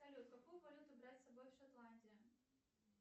салют какую валюту брать с собой в шотландию